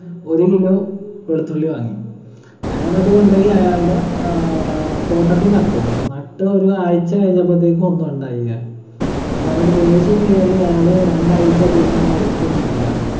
ഒരു kilo വെളുത്തുള്ളി വാങ്ങി അയാളതുകൊണ്ടോയി അയാളുടെ ആഹ് തോട്ടത്തി നട്ടു നട്ടു ഒരു ആഴ്ച കഴിഞ്ഞപ്പോത്തേക്കും ഒന്നുണ്ടായില്ല അപ്പയാൾക്ക് ദേഷ്യം കേറി അയാള് രണ്ടാഴ്ച പിന്നെ ആ വഴിക്ക് വന്നിട്ടില്ല